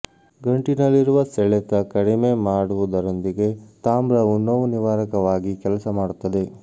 ಗಂಟಿನಲ್ಲಿರುವ ಸೆಳೆತ ಕಡಿಮೆ ಮಾಡುವುದರೊಂದಿಗೆ ತಾಮ್ರವು ನೋವು ನಿವಾರಕವಾಗಿ ಕೆಲಸ ಮಾಡುತ್ತದೆ